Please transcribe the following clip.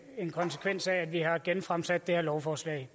en konsekvens af at vi har genfremsat det her lovforslag